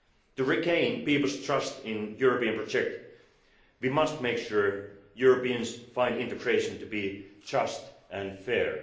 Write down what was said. To regain people's trust in the European project, we must make sure Europeans find integration to be just and fair.